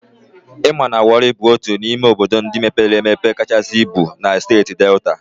I ma na Wọri bụ otu n'ime obodo ndị mepere emepe kachasị ibu na Steeti Delta?